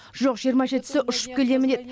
жоқ жиырма жетісі ұшып келемін деді